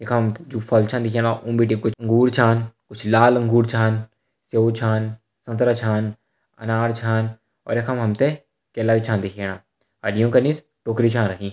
यख हम त जू फल छ दिखेणा ऊं बिटि कुछ अँगूर छ कुछ लाल अँगूर छन सेब छन संतरा छन अनार छन और यख मा हम त केला भी छ दिखेणा और योंका निस टोकरी छ रखीं।